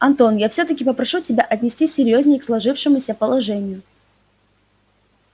антон я всё-таки попрошу тебя отнестись серьёзнее к сложившемуся положению